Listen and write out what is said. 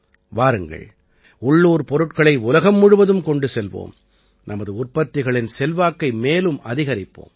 வாருங்கள் உள்ளூர் பொருட்களை உலகம் முழுவதும் கொண்டு செல்வோம் நமது உற்பத்திகளின் செல்வாக்கை மேலும் அதிகரிப்போம்